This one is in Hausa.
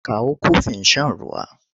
Kawo kofin shan ruwa!